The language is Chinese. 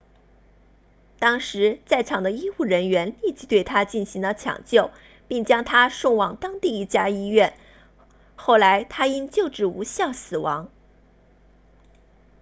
当时在场的医务人员立即对他进行了抢救并将他送往当地一家医院后来他因救治无效身亡